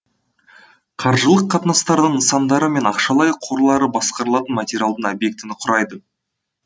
қаржылық қатынастардың нысандары мен ақшалай қорлары басқарылатын материалдың объектіні құрайды